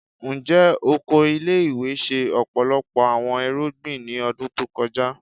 Njẹ oko ile-iwe ṣe ọpọlọpọ awọn irugbin ni ọdun to kọja?